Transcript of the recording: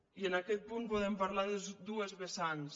i en aquest punt podem parlar de dues vessants